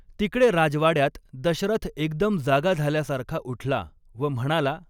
तिकडे राजवाड्यात दशरथ एकदम जागा झाल्यासारखा उठला व म्हणाला.